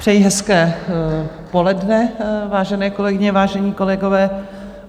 Přeji hezké poledne, vážené kolegyně, vážení kolegové.